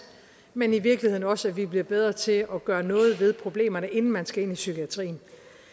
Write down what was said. men i virkeligheden også at vi bliver bedre til at gøre noget ved problemerne inden man skal ind i psykiatrien